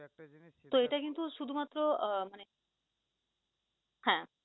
তো এটা কিনু শুধু মাত্র আহ মানে, হ্যাঁ